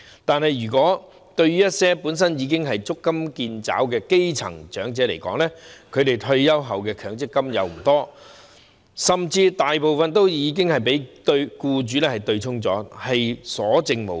但是，對於一些本身已經足襟見肘的基層長者來說，他們退休後能取得的強制性公積金不多，甚至大部分已被僱主對沖，所餘無幾。